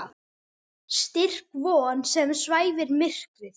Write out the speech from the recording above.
Styrk von sem svæfir myrkrið.